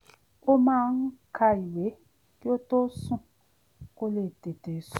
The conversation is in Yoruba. ó máa ń ka ìwé kí ó tó sùn kó lè tètè sùn